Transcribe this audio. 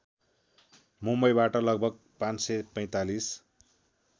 मुम्‍बईबाट लगभग ५४५